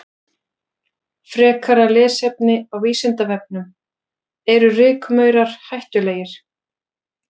Frekara lesefni á Vísindavefnum: Eru rykmaurar hættulegir?